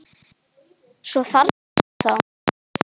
Svo þarna ertu þá!